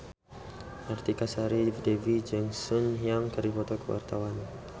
Artika Sari Devi jeung Sun Yang keur dipoto ku wartawan